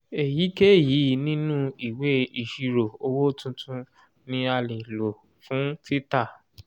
èyíkéyìí nínú ìwé ìṣirò owó tuntun ni a lè lò fún títà.